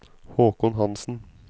Haakon Hanssen